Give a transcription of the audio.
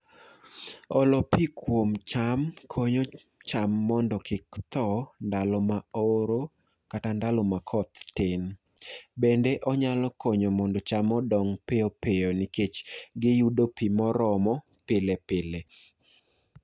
Olo pii kwom cham konyo cham mondo kik thoo ndalo ma oro kata ndalo ma koth tin. Bende onyalo konyo mondo cham odong piopio nikech giyudo pii moromo pile pile.